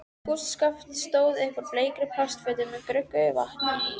Kústskaft stóð upp úr bleikri plastfötu með gruggugu vatni í.